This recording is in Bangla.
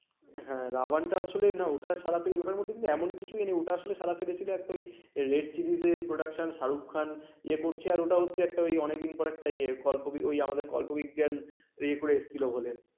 হ্যাঁ রা ওয়ান আসলে না ওটা সারাতেই ওটার মধ্যেই কিন্তু এমন কিছু নেই ওটা আসলে সারা ফেলে ছিল একটা web series production Shahrukh Khan ইয়ে করছে আর ওটা হচ্ছে অনেকদিন পরে আমাদের ইয়ে কল্প গল্প বিজ্ঞান ইয়ে করে এসেছিল বলে